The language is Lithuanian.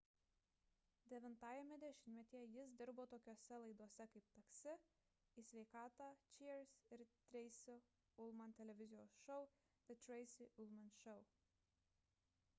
devintajame dešimtmetyje jis dirbo tokiose laidose kaip taksi taxi į sveikatą cheers ir treisi ulman televizijos šou the tracy ullman show